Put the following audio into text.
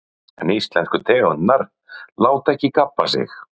Magnús Hlynur: En íslensku tegundirnar láta ekki gabba sig?